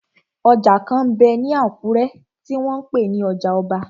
Ọjà kan m bẹ ní Àkúrẹ́ tí wọ́n n pè ní ọjà ọba.